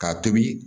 K'a tobi